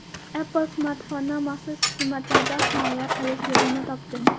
Apple smartfonni maxsus xizmatlardan himoya qilish yo‘lini topdi.